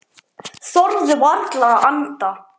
Þorðu varla að anda.